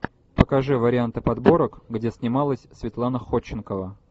покажи варианты подборок где снималась светлана ходченкова